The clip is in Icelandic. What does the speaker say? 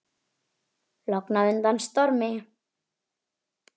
Logn á undan stormi.